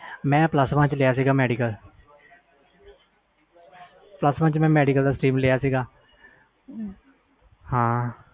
ਮੈਂ plus one ਵਿਚ medical stream ਲਿਆ ਸੀ